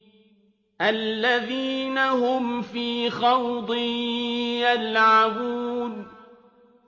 الَّذِينَ هُمْ فِي خَوْضٍ يَلْعَبُونَ